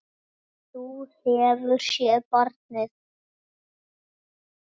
Þú hefur séð barnið?